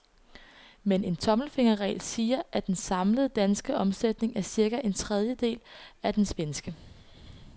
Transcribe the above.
Men en tommelfingerregel siger, at den samlede danske omsætning er cirka en tredjedel af den svenske.